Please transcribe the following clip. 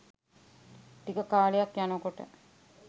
ටික කාලයක් යනකොට